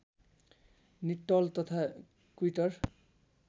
निट्टल तथा विक्टर